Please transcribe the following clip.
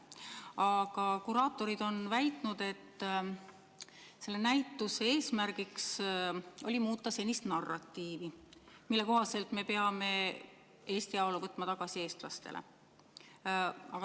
Aga kuraatorid on väitnud, et selle näituse eesmärk oli muuta senist narratiivi, mille kohaselt me peame Eesti ajalugu võtma tagasi eestlastele.